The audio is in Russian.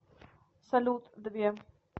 салют две